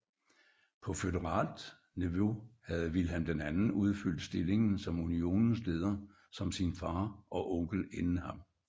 På føderalt niveau havde Vilhelm II udfyldt stillingen som Unionens leder som sin fader og onkel inden ham